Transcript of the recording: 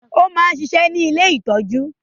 ó máa ń ṣiṣẹ́ ní “ ilé ìtọ́jú ”.